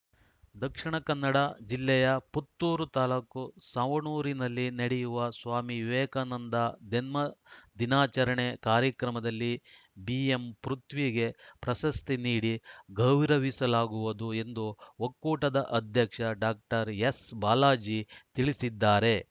ದಕ್ಷಿಣ ಕನ್ನಡ ಜಿಲ್ಲೆಯ ಪುತ್ತೂರು ತಾಲೂಕು ಸವಣೂರಿನಲ್ಲಿ ನಡೆಯುವ ಸ್ವಾಮಿ ವಿವೇಕಾನಂದ ಜನ್ಮದಿನಾಚರಣೆ ಕಾರ್ಯಕ್ರಮದಲ್ಲಿ ಬಿಎಂಪೃಥ್ವಿಗೆ ಪ್ರಶಸ್ತಿ ನೀಡಿ ಗೌರವಿಸಲಾಗುವುದು ಎಂದು ಒಕ್ಕೂಟದ ಅಧ್ಯಕ್ಷ ಡಾಕ್ಟರ್ ಎಸ್‌ಬಾಲಾಜಿ ತಿಳಿಸಿದ್ದಾರೆ